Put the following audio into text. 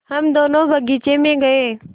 हम दोनो बगीचे मे गये